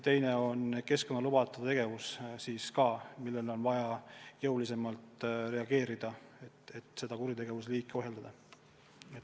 Teiseks keskkonnalubadealane tegevus – sellealastele rikkumistele on vaja jõulisemalt reageerida, et seda kuritegevusliiki ohjeldada.